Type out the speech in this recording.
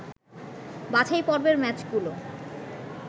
বাছাই পর্বের ম্যাচগুলো